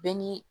Bɛɛ ni